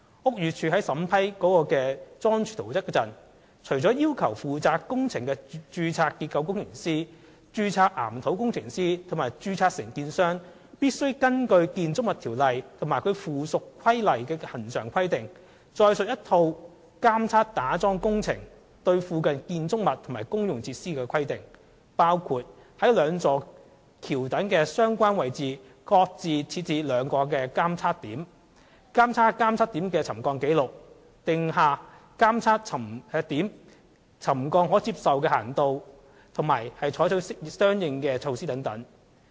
屋宇署在審批該樁柱圖則時，除要求負責工程的註冊結構工程師、註冊岩土工程師及註冊承建商須根據《建築物條例》及其附屬規例的恆常規定外，載述一套打樁工程對附近建築物及公用設施監測規定的細節，包括於該兩座橋躉的相關位置各設置兩個監測點；監察監測點的沉降紀錄；訂下監測點沉降的可接受幅度及採取的相應措施等。